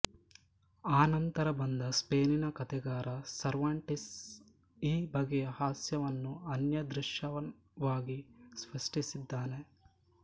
ಅನಂತರ ಬಂದ ಸ್ಪೇನಿನ ಕಥೆಗಾರ ಸರ್ವಾಂಟಿಸ್ ಈ ಬಗೆಯ ಹಾಸ್ಯವನ್ನು ಅನ್ಯಾದೃಶವಾಗಿ ಸೃಷ್ಟಿಸಿದ್ದಾನೆ